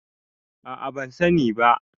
a a ban sani ba